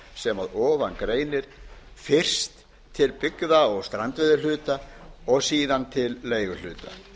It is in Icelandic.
sem að ofan greinir fyrst til byggða og strandveiðihluta og síðan til leiguhluta